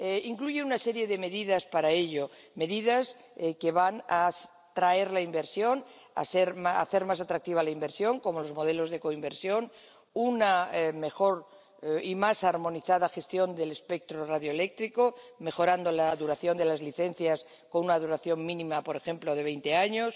Incluye una serie de medidas para ello, medidas que van a atraer la inversión, a hacer más atractiva la inversión, como los modelos de coinversión, una mejor y más armonizada gestión del espectro radioeléctrico, mejorando la duración de las licencias con una duración mínima, por ejemplo, de veinte años.